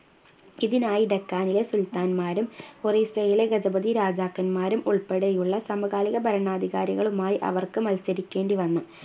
ഇതിനായി ഡെക്കാനിലെ സുൽത്താൻമാരും ഒറീസയിലെ ഗജപതി രാജാക്കന്മാരും ഉൾപ്പെടെയുള്ള സമകാലിക ഭരണാധികാരികളുമായി അവർക്ക് മത്സരിക്കേണ്ടി വന്നു